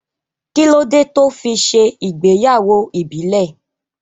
Kí ló dé tó fi ṣe ìgbéyàwó ìbílẹ̀